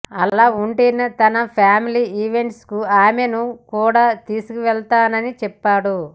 అలా ఉంటేనే తన ఫ్యామిలీ ఈవెంట్స్కు ఆమెను కూడా తీసుకెళ్తానని చెప్పాడు